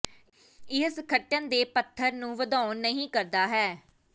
ਇਹ ਸੰਗਠਨ ਦੇ ਪੱਧਰ ਨੂੰ ਵਧਾਉਣ ਨਹੀ ਕਰਦਾ ਹੈ